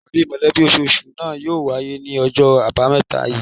Ìpàdé mọ̀lẹ́bí ososù náà yóò wáyé ní ojó àbámẹ́ta yìí